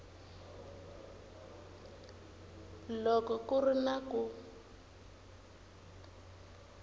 loko ku ri na ku